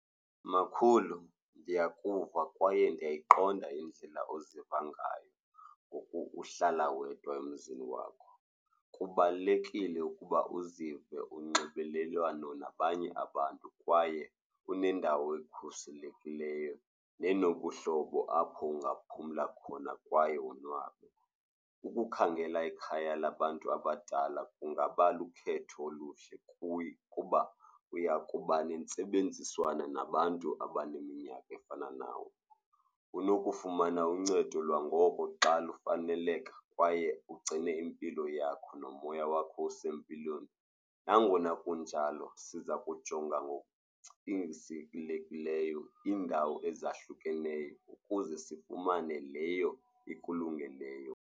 Makhulu, ndiyakuva kwaye ndiyayiqonda indlela oziva ngayo ngoku uhlala wedwa emzini wakho. Kubalulekile ukuba uzive unxibelelwano nabanye abantu kwaye unendawo ekhuselekileyo nenobuhlobo apho ungaphumla khona kwaye wonwabe. Ukukhangela ikhaya labantu abadala kungaba lukhetho oluhle kuye kuba uya kuba nentsebenziswano nabantu abaneminyaka efana nawe. Unokufumana uncedo lwangoko xa lufaneleka kwaye ugcine impilo yakho nomoya wakho usempilweni. Nangona kunjalo siza kujonga ngokucingisekileyo iindawo ezahlukeneyo ukuze sifumane leyo ekulungeleyo.